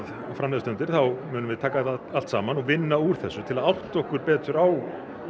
fram líða stundir þá munum við taka þetta allt saman og vinna úr þessu til að átta okkur betur á